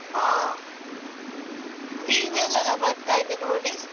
ಹಾ TV ಯಲ್ಲೆಲ್ಲಾ ಬರ್ತಾ ಇದೆ ನೋಡಿ.